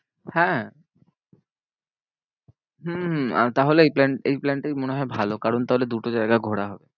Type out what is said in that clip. হ্যাঁ হম তাহলে এই plan এই plan টাই মনে হয় ভালো কারণ তাহলে দুটো জায়গা ঘোরা হবে।